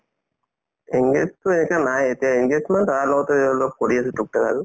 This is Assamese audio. engage তো এতিয়া নাই এতিয়া engage মানে দাদাৰ লগতে অলপ কৰি আছো তোকতাক আৰু